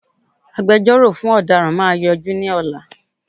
Agbẹjọ́rọ̀ fún ọ̀daràn máa yọjú ní ọ̀la